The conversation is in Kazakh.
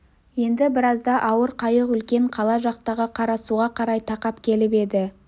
енді біразда ауыр қайық үлкен қала жақтағы қарасуға қарай тақап келіп еді